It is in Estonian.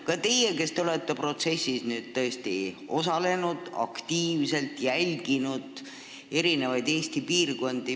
Ka teie olete protsessis aktiivselt osalenud, jälginud Eesti eri piirkondi.